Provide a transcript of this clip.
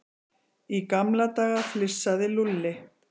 Í gamla daga flissaði Lúlli.